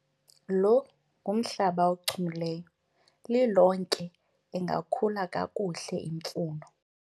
lo ngumhlaba ochumileyo, lilonke ingakhula kakuhle imfuno